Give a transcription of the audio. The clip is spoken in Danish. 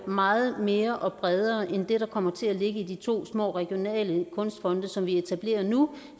meget mere og bredere end det der kommer til at ligge i de to små regionale kunstfonde som vi etablerer nu